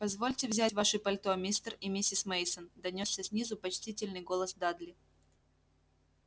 позвольте взять ваши пальто мистер и миссис мейсон донёсся снизу почтительный голос дадли